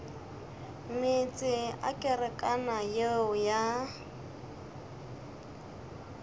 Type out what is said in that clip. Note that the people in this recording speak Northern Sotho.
meetse a kerekana yeo ya